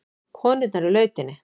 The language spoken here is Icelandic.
Konurnar í lautinni.